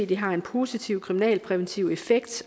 det har en positiv kriminalpræventiv effekt